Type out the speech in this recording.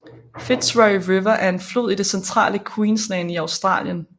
Fitzroy River er en flod i det centrale Queensland i Australien